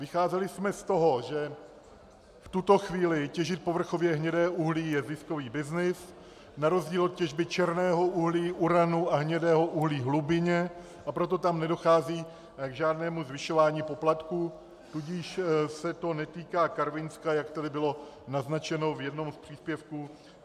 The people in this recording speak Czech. Vycházeli jsme z toho, že v tuto chvíli těžit povrchově hnědé uhlí je ziskový byznys na rozdíl od těžby černého uhlí, uranu a hnědého uhlí hlubinně, a proto tam nedochází k žádnému zvyšování poplatků, tudíž se to netýká Karvinska, jak tady bylo naznačeno v jednom z příspěvků.